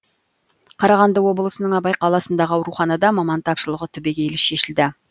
қарағанды облысының абай қаласындағы ауруханада маман тапшылығы түбегейлі шешілді